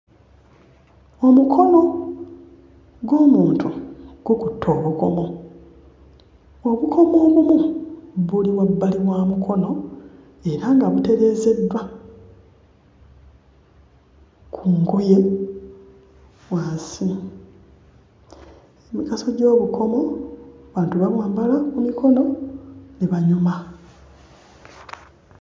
Omukono gw'omuntu gukutte obukomo, obukomo obumu buli wabbali wa mukono, era nga butereezeddwa ku ngoye wansi. Emigaso gy'obukomo abantu babwambala ku mikono ne banyuma.